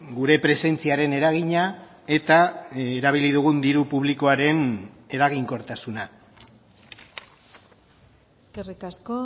gure presentziaren eragina eta erabili dugun diru publikoaren eraginkortasuna eskerrik asko